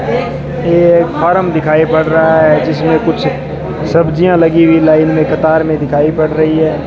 ये एक फॉर्म दिखाई पड़ रहा है जिसमें कुछ सब्जिया लगी हुई लाइन में कतार में दिखाई पड़ रही है।